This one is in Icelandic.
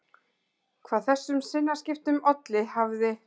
Hvað þessum sinnaskiptum olli hafði